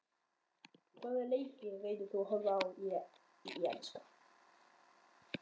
Hvaða leiki reynir þú að horfa á í enska?